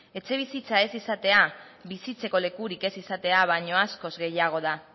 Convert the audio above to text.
etxebizitza ez izatea bizitzeko lekurik ez izate baino askoz gehiago da